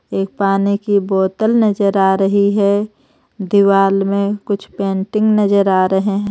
एक पानी की बोतल नजर आ रही है दीवाल में कुछ पेंटिंग नजर आ रहे है.